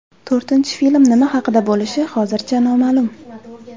To‘rtinchi film nima haqida bo‘lishi hozircha noma’lum.